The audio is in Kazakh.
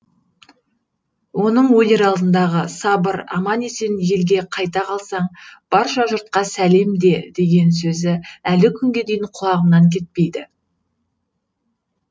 оның өлер алдындағы сабыр аман есен елге қайта қалсаң барша жұртқа сәлем де деген сөзі әлі күнге дейін құлағымнан кетпейді